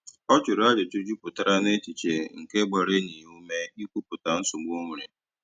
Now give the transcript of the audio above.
Ọ jụrụ ajụjụ jupụtara n'echiche nke gbara enyi ya ume i kwupụta nsogbu o nwere.